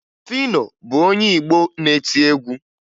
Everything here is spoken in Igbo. Fino bụ onye Igbo na-eti egwu